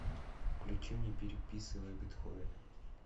включи мне переписывая бетховена